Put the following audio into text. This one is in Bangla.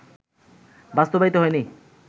বাস্তবায়িত হয়নি